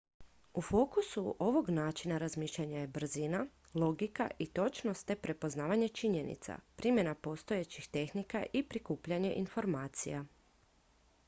u fokusu ovog načina razmišljanja je brzina logika i točnost te prepoznavanje činjenica primjena postojećih tehnika i prikupljanje informacija